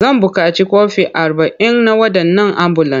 Zan buƙaci kwafi arba'in na waɗannan ambulan.